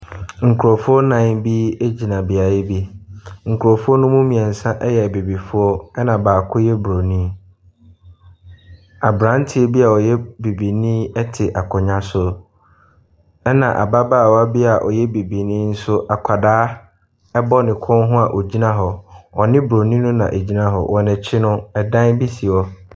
Nkorɔfoɔ nnan bi gyina beaeɛ bi. Nkorɔfoɔ no mu mmiɛnsa ɛyɛ abibifoɔ ɛna baako yɛ broni. Abranteɛ bia ɔyɛ bibinii ɛte akonnwa so ɛna ababaawa bi a ɔyɛ bibinii nso akwadaa ɛbɔ ne kɔn ho a ɔgyina hɔ. Ɔne broni no na egyina hɔ. Wɔ n'akyi no dan bi si hɔ.